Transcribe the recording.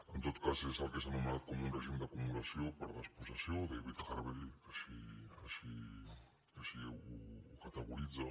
en tot cas és el que s’ha anomenat com un règim d’acumulació per despossessió david harvey així ho categoritza